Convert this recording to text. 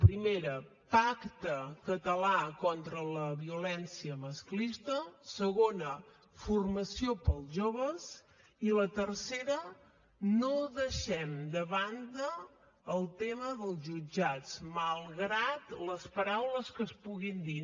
primera pacte català contra la violència masclista segona formació per als joves i la tercera no deixem de banda el tema dels jutjats malgrat les paraules que es puguin dir